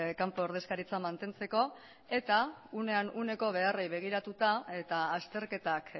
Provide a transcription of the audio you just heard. kanpo ordezkaritzak mantentzeko eta uneko beharrei begiratuta eta azterketak